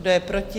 Kdo je proti?